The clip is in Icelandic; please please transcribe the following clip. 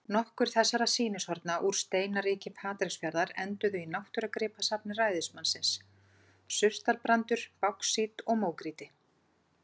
Nokkur þessara sýnishorna úr steinaríki Patreksfjarðar enduðu í náttúrugripasafni ræðismannsins: surtarbrandur, báxít og mógrýti.